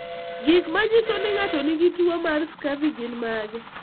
Gik manyiso ni ng'ato nigi tuwo mar Scurvy gin mage?